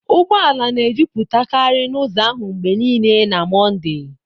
ụgbọala na ejuputakari n'uzọ ahụ mgbe niile na Mọnde.